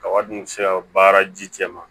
Kaba dun sera baara ji cɛ ma